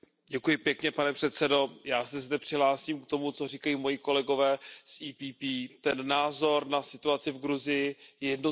Pane předsedající, já se zde přihlásím k tomu, co říkají moji kolegové z PPE. Ten názor na situaci v Gruzii je jednoznačný.